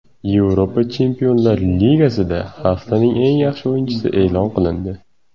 Yevropa Chempionlar Ligasida haftaning eng yaxshi o‘yinchisi e’lon qilindi.